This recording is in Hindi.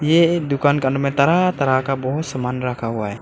ये एक दुकान का अंदर में तरह तरह का बहुत सामान रखा हुआ है।